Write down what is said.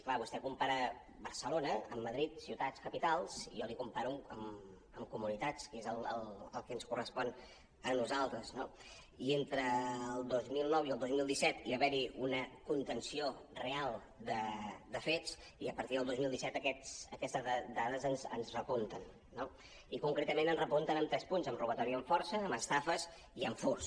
clar vostè compara barcelona amb madrid ciutats capitals i jo li comparo amb comunitats que és el que ens correspon a nosaltres no i entre el dos mil nou i el dos mil disset hi va haver una contenció real de fets i a partir del dos mil disset aquestes dades ens repunten no i concretament ens repuntem en tres punts en robatori amb força en estafes i en furts